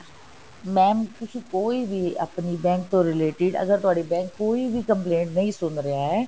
mam ਤੁਸੀ ਕੋਈ ਵੀ ਆਪਣੀ bank ਤੋਂ related ਅਗਰ ਤੁਹਾਡਾ bank ਕੋਈ ਵੀ complaint ਨਹੀਂ ਸੁਣ ਰਿਹਾ ਹੈ